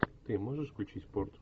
ты можешь включить порт